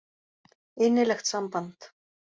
Innilegt samband.